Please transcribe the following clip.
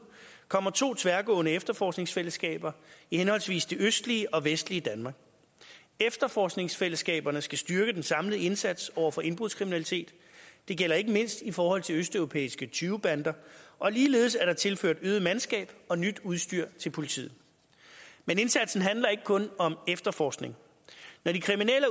kommer to tværgående efterforskningsfællesskaber i henholdsvis det østlige og det vestlige danmark efterforskningsfællesskaberne skal styrke den samlede indsats over for indbrudskriminalitet det gælder ikke mindst i forhold til østeuropæiske tyvebander ligeledes er der tilført øget mandskab og nyt udstyr til politiet men indsatsen handler ikke kun om efterforskning når de kriminelle